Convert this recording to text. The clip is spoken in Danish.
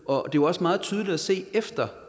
og det var også meget tydeligt at se efter